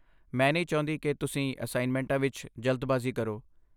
ਮੈਂ ਨਹੀਂ ਚਾਹੁੰਦੀ ਕਿ ਤੁਸੀਂ ਅਸਾਈਨਮੈਂਟਾਂ ਵਿੱਚ ਜਲਦਬਾਜ਼ੀ ਕਰੋ।